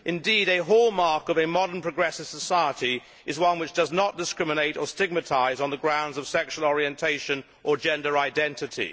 Indeed a hallmark of a modern progressive society is one which does not discriminate or stigmatise on the grounds of sexual orientation or gender identity.